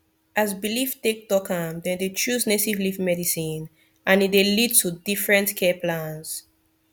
as belief take talk am dem dey choose native leaf medicine and e dey lead to different care plans